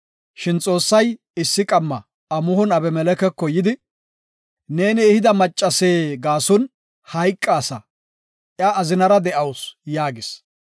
Shin Xoossay issi qamma amuhon Abimelekeko yidi, “Neeni ehida macaase gaason hayqaasa, iya azinara de7awusu” yaagis.